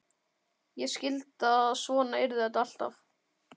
Ég skildi að svona yrði þetta alltaf.